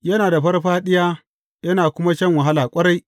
Yana da farfaɗiya yana kuma shan wahala ƙwarai.